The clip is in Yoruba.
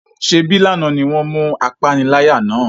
Se bí lànà ni wọn mú apániláyà náà?